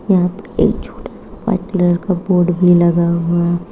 यहां पे एक छोटा सा व्हाइट कलर का बोर्ड भी लगा हुआ--